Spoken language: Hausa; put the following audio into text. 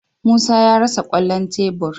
Musa ya rasa kwallon tebur.